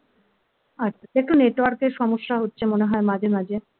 আচ্ছা একটু network এর সমস্যা হচ্ছে মনে হয় মাঝে মাঝে